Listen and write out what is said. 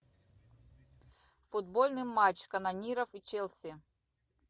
футбольный матч канониров и челси